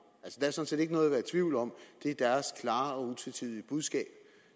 altså set ikke noget at være i tvivl om det er deres klare og utvetydige budskab